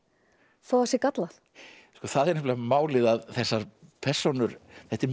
þó það sé gallað það er nefnilega málið að þessar persónur þetta er mjög